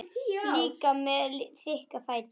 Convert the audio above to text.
Líka með þykka fætur.